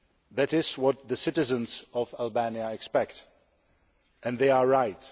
That is what the citizens of Albania expect, and they are right.